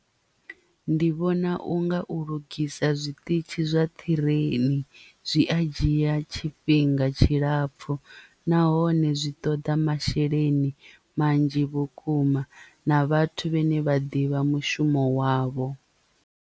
Ndi vhona unga u lugisa zwiṱitshi zwa ṱhireini zwi a dzhia tshifhinga tshilapfu nahone zwi ṱoḓa masheleni manzhi vhukuma na vhathu vhane vha ḓivha mushumo wavho.